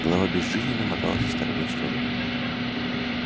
голова безжизненно моталась из стороны в сторону